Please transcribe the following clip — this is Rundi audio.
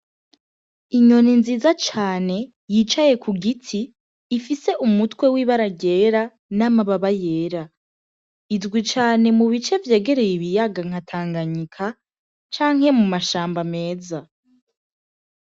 Inyoni nziza cane yicaye ku giti ifise umutwe wibe aragera n'amababa yera izwi cane mu bice vyagereye ibiyaga nkatanganyika canke mu mashamba ameza.